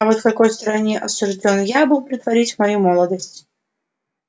и вот в какой стороне осуждён я был проводить мою молодость